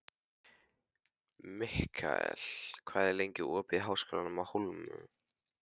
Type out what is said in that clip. Mikkel, hvað er lengi opið í Háskólanum á Hólum?